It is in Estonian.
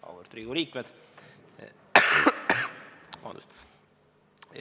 Auväärt Riigikogu liikmed!